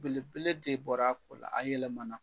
Belebele de bɔr'a ko la, a yɛlɛmana.